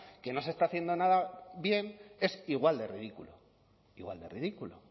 que no se está haciendo nada bien es igual de ridículo igual de ridículo